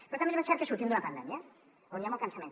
però també és ben cert que sortim d’una pandèmia on hi ha molt cansament